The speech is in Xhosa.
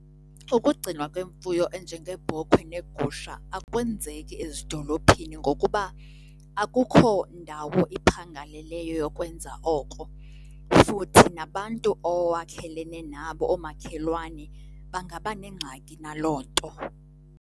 Ukugcinwa kwemfuyo enjengeebhokhwe neegusha akwenzeki ezidolophini ngokuba akukho ndawo iphangaleleyo yokwenza oko, futhi nabantu owakhelene nabo, oomakhelwane bangaba nengxaki naloo nto.